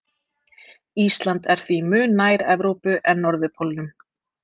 Ísland er því mun nær Evrópu en norðurpólnum.